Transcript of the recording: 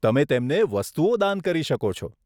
તમે તેમને વસ્તુઓ દાન કરી શકો છો.